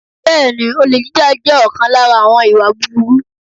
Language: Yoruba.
Bẹ́ẹ̀ni, olè jíjà jẹ́ ọ̀kan lára àwọn ìwà búburú.